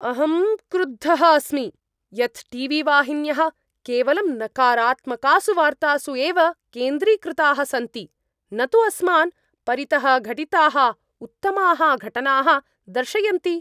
अहं क्रुद्धः अस्मि यत् टी वी वाहिन्यः केवलं नकारात्मकासु वार्तासु एव केन्द्रीकृताः सन्ति न तु अस्मान् परितः घटिताः उत्तमाः घटनाः दर्शयन्ति।